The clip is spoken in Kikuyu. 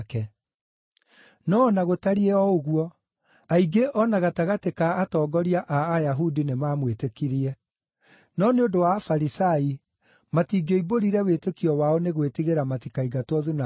No o na gũtariĩ o ũguo, aingĩ o na gatagatĩ ka atongoria a Ayahudi nĩmamwĩtĩkirie. No nĩ ũndũ wa Afarisai, matingĩoimbũrire wĩtĩkio wao nĩ gwĩtigĩra matikaingatwo thunagogi;